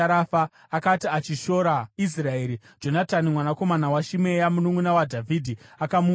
Akati achishora Israeri, Jonatani mwanakomana waShimea, mununʼuna waDhavhidhi, akamuuraya.